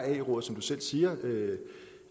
at ae rådet som du selv siger